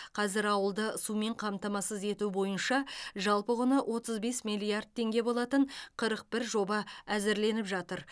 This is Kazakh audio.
қазір ауылды сумен қамтамасыз ету бойынша жалпы құны отыз бес миллиард теңге болатын қырық бір жоба әзірленіп жатыр